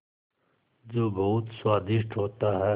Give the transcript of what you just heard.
जो बहुत स्वादिष्ट होता है